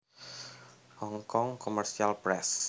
Hong Kong Commercial Press